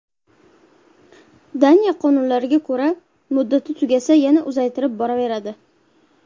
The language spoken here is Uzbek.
Daniya qonunlariga ko‘ra, muddati tugasa yana uzaytirib boraveradi.